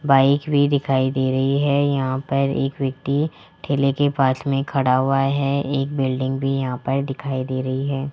Bike भी दिखाई दे रही है यहां पर एक व्यक्ति ठेले के पास में खड़ा हुआ है एक बिल्डिंग भी यहां पर दिखाई दे रही है।